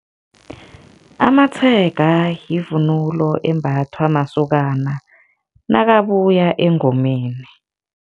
Amatshega yivunulo embathwa masokana nakabuya engomeni.